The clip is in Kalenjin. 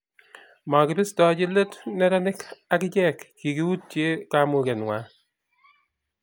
makibistochi let neranik ak ichek kikiyutie kamuge ng'wang'